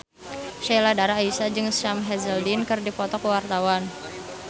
Sheila Dara Aisha jeung Sam Hazeldine keur dipoto ku wartawan